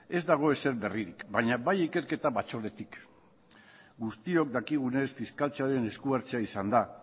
ez dago ezer berririk baina bai ikerketa batzordetik guztiok dakigunez fiskaltzaren esku hartzea izan da